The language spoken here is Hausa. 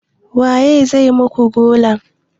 Waye zai muku gola?